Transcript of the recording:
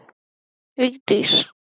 Starfsemin sjálf hafði mikil áhrif á mig.